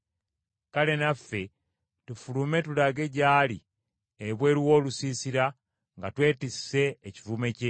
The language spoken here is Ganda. Kale naffe tufulume tulage gy’ali ebweru w’olusiisira nga twetisse ekivume kye.